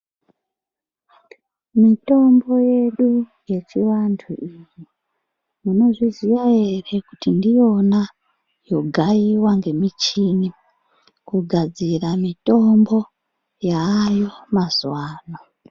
Mitombo yedu yechivantu iyi munozviziva ere kuti ndiyona yogaiwa ngemishini kugadzira mitombo yaayo mazuva ano.